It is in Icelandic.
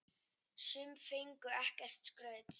Sum fengu ekkert skraut.